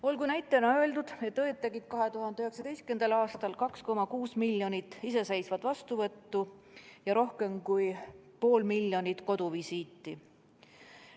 Olgu näitena öeldud, et õdedel oli 2019. aastal 2,6 miljonit iseseisvat vastuvõttu ja rohkem kui pool miljonit koduvisiiti.